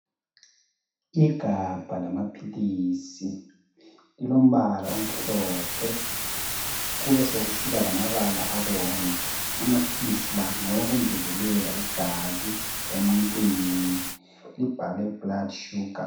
Igabha lamaphilisi, lilombala omhlophe, kubesekusiba lamabala abomvu. Amaphilisi la ngawokungezelela igazi emuntwini, libhalwe blood sugar